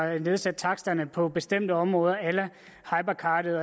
at nedsætte taksterne på bestemte områder a la hypercardet